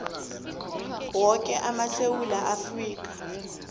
woke amasewula afrika